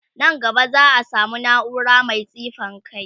Nan gaba za'a samu naura Mai tsifan kai